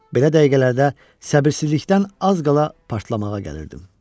Belə dəqiqələrdə səbirsizlikdən az qala partlamağa gəlirdim.